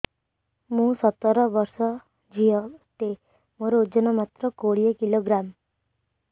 ମୁଁ ସତର ବର୍ଷ ଝିଅ ଟେ ମୋର ଓଜନ ମାତ୍ର କୋଡ଼ିଏ କିଲୋଗ୍ରାମ